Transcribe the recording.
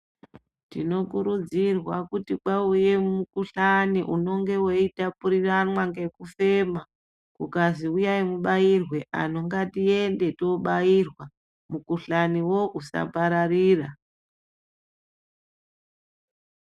Tinokurudzirwa kuti kwauye mukhuhlane unonga weitapuriranwa ngekufema kukazi uyai mubairwe anhu ngatiende tobairwa mukhuhlanewo usapararira.